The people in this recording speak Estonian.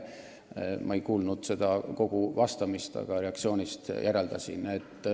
Ma ei kuulnud küll kogu vastust, aga reaktsioonist järeldasin nii.